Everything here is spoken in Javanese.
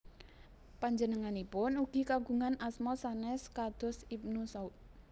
Panjenenganipun ugi kagungan asma sanes kados Ibnu Saud